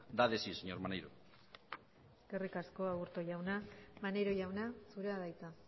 da de sí señor maneiro eskerrik asko aburto jauna maneiro jauna zurea da hitza